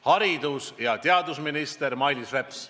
Haridus- ja teadusminister Mailis Reps.